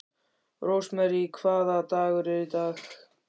Rósmary, hvaða dagur er í dag?